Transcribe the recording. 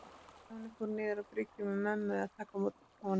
Stjáni fór niður á bryggju með mömmu að taka á móti honum.